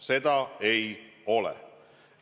Seda ei ole.